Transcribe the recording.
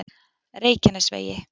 Reykjanesvegi